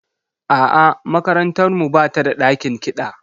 A'a, makarantar mu ba ta da ɗakin kiɗa.